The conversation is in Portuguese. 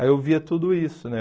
Aí eu via tudo isso, né?